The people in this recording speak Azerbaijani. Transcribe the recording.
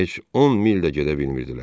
Bəzən heç 10 mil də gedə bilmirdilər.